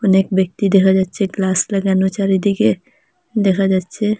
অনেক ব্যক্তি দেখা যাচ্ছে গ্লাস লাগানো চারিদিকে দেখা যাচ্চে।